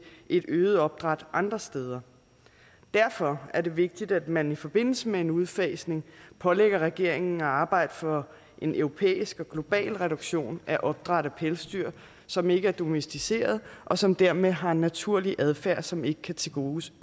et øget opdræt andre steder derfor er det vigtigt at man i forbindelse med en udfasning pålægger regeringen at arbejde for en europæisk og global reduktion af opdræt af pelsdyr som ikke er domesticerede og som dermed har en naturlig adfærd som ikke kan tilgodeses